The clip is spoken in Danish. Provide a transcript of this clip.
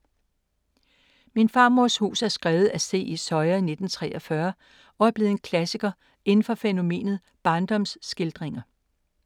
Min farmors hus er skrevet af C. E. Soya i 1943 og er blevet en klassiker inden for fænomenet barndomsskildringer.